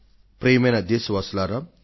ప్రియమైన నా దేశ వాసులారా